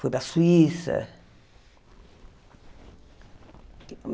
Fui para a Suíça.